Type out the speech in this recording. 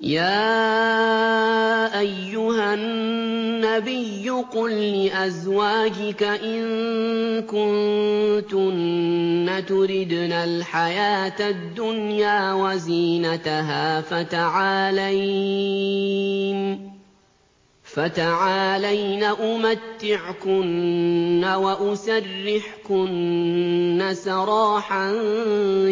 يَا أَيُّهَا النَّبِيُّ قُل لِّأَزْوَاجِكَ إِن كُنتُنَّ تُرِدْنَ الْحَيَاةَ الدُّنْيَا وَزِينَتَهَا فَتَعَالَيْنَ أُمَتِّعْكُنَّ وَأُسَرِّحْكُنَّ سَرَاحًا